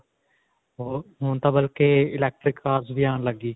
ਹੋਰ ਹੁਣ ਤਾਂ ਬਲਕਿ electric cars ਵੀ ਆਉਣ ਲੱਗ ਗਈ .